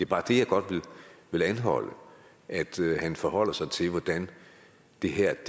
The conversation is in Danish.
bare det jeg godt vil anholde og at han forholder sig til hvordan det her